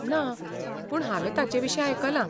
ना, पूण हांवें ताचेविशीं आयकलां.